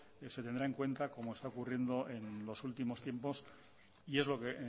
se tendrá en cuenta como está ocurriendo en los últimos tiempos y es lo que